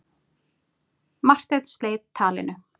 Marteinn sleit talinu.